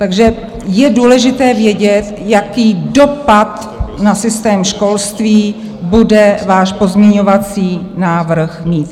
Takže je důležité vědět, jaký dopad na systém školství bude váš pozměňovací návrh mít.